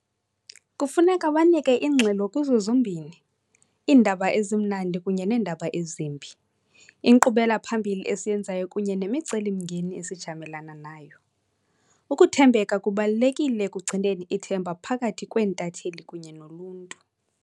Kufuneka banike ingxelo kuzo zombini iindaba ezimnandi kunye neendaba ezimbi, inkqubela-phambili esiyenzayo kunye nemicelimngeni esijamelana nayo. Ukuthembeka kubalulekile ekugcineni ithemba phakathi kweentatheli kunye noluntu.